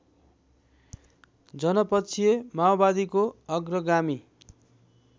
जनपक्षीय माओवादीको अग्रगामी